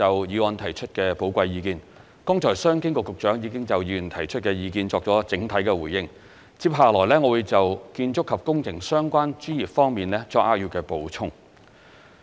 剛才商務及經濟發展局局長已就議員提出的意見作出了整體的回應，接下來我會就建築及工程相關專業方面作扼要的補充。